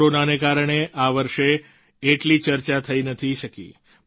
corona ને કારણે આ વર્ષે એટલી ચર્ચા થઈ નથી શકી